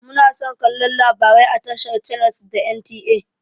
Muna son kallon labarai a tashar channels da NTA.